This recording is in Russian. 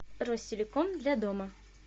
ростелеком для дома